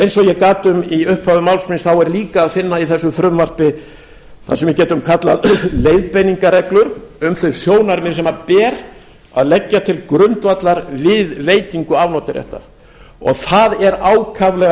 eins og ég gat um í upphafi máls míns er líka að finna í þessu frumvarpi það sem við getum kallað leiðbeiningarreglur um þau sjónarmið sem ber að leggja til grundvallar við veitingu afnotaréttar og það er ákaflega